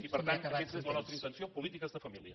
i per tant aquesta és la nostra intenció en polítiques de família